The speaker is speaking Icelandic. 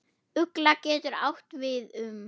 Ugla getur átt við um